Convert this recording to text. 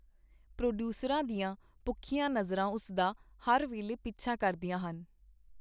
ਪ੍ਰੋਡੀਊਸਰਾਂ ਦੀਆਂ ਭੁੱਖੀਆਂ ਨਜ਼ਰਾਂ ਉਸ ਦਾ ਹਰ ਵੇਲੇ ਪਿੱਛਾ ਕਰਦੀਆਂ ਹਨ.